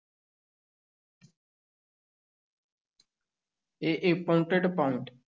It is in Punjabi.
ਇਹ